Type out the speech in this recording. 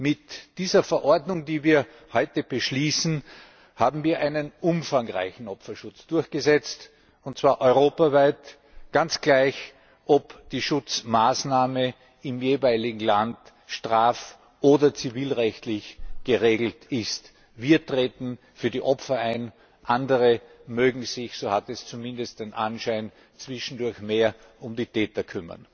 Mit dieser Verordnung, die wir heute beschließen, haben wir einen umfangreichen Opferschutz durchgesetzt, und zwar europaweit, ganz gleich, ob die Schutzmaßnahme im jeweiligen Land straf oder zivilrechtlich geregelt ist. Wir treten für die Opfer ein, andere mögen sich so hat es zumindest den Anschein zwischendurch mehr um die Täter kümmern.